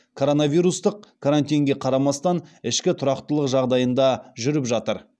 коронавирустық карантинге қарамастан ішкі тұрақтылық жағдайында жүріп жатыр